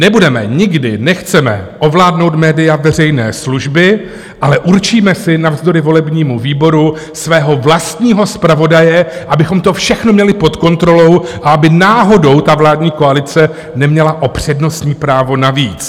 Nebudeme, nikdy nechceme ovládnout média veřejné služby, ale určíme si navzdory volebnímu výboru svého vlastního zpravodaje, abychom to všechno měli pod kontrolou a aby náhodou ta vládní koalice neměla o přednostní právo navíc.